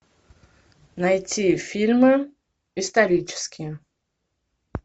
найти фильмы исторические